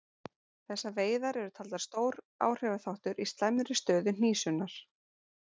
Þessar veiðar eru taldar stór áhrifaþáttur í slæmri stöðu hnísunnar.